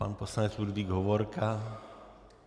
Pan poslanec Ludvík Hovorka.